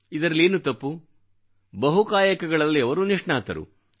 ಇದರಲ್ಲೇನು ತಪ್ಪು ಬಹುಕಾಯಕಗಳಲ್ಲಿ ಅವರು ನಿಷ್ಣಾತರು